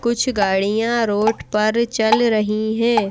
कुछ गाड़ियां रोड पर चल रही हैं।